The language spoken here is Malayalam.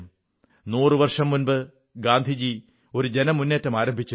നൂറു വർഷം മുമ്പ് ഗാന്ധിജി ഒരു ജനമുന്നേറ്റം ആരംഭിച്ചിരുന്നു